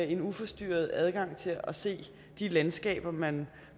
en uforstyrret adgang til at se de landskaber man